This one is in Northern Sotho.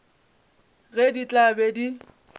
ge di tla be di